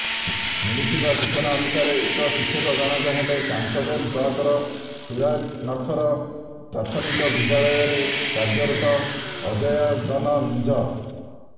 ମିଳିଥିବା ସୂଚନା ଅନୁସାରେ ଉକ୍ତ ଶିକ୍ଷକଜଣକ ହେଲେ କାଂସବେଲ ବ୍ଲକର ତୁରାନଖର ପ୍ରାଥମିକ ବିଦ୍ୟାଳୟରେ କାର୍ଯ୍ୟରତ ଅଜୟାଦନ ମିଞ୍ଜ